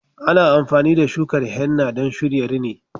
Ana amfani da shukar henna don shirya rini.